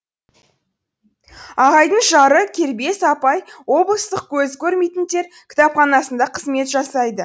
ағайдың жары кербез апай облыстық көзі көрмейтіндер кітапханасында қызмет жасайды